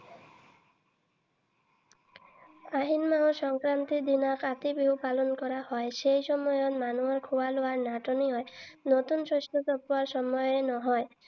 আহিন মাহৰ সংক্ৰান্তিৰ দিনা কাতি বিহু পালন কৰা হয়। সেই সময়ত মানুহৰ খোৱা লোৱাৰ নাটনি হয়। নতুন শস্য চপোৱাৰ সময় নহয়।